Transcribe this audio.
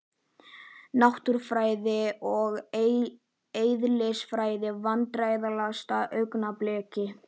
Náttúrufræði og eðlisfræði Vandræðalegasta augnablik?